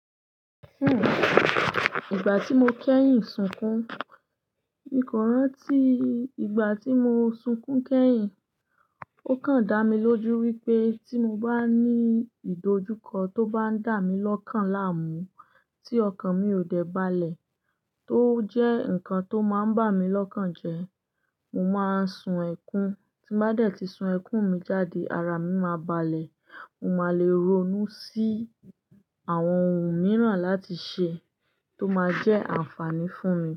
Ìgbà tí mo kẹ́yìn sunkún, mí kọ́ rántí ìgbà tí mo sunkún kẹ́yìn, ó kan dá mi lójú wípé tí mo bá ní ìdojúkọ tó bá ń dà mí lọ́kàn láàmú tí ọkàn mi ò dẹ̀ balẹ̀ tó jẹ́ ǹkan tó máa ń bà mí lọ́kàn jẹ, mo máa ń sun ẹkún, tí bá dẹ̀ tí sun ẹkún mi jáde, ara mi máa balẹ̀, mo máa le ronú sí àwọn ohun mìíràn láti ṣe tó máa jẹ́ àǹfààní fún mi.